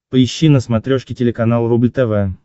поищи на смотрешке телеканал рубль тв